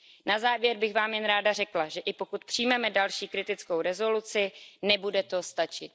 Na závěr bych vám jen ráda řekla, že i pokud přijmeme další kritickou rezoluci, nebude to stačit.